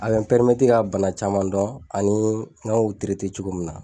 A be n ka bana caman dɔn, ani n ka u cogo min na.